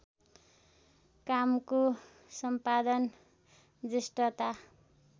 कामको सम्पादन जेष्ठता